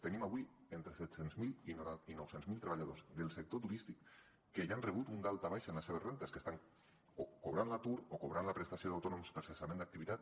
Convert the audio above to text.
tenim avui entre set cents miler i nou cents miler treballadors del sector turístic que ja han rebut un daltabaix en les seves rendes que estan o cobrant l’atur o cobrant la prestació d’autònoms per cessament d’activitat